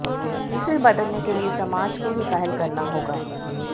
जिसे बदलने के लिए समाज को ही पहल करना होगा